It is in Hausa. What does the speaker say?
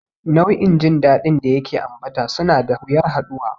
Nau'in jin daɗin da yake ambata suna da wuyar haɗuwa.